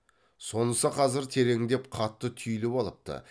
сонысы қазір тереңдеп қатты түйіліп алыпты